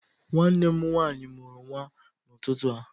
Nwanne m nwaanyị mụrụ nwa n'ụtụtụ a